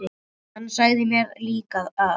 Hann sagði mér líka að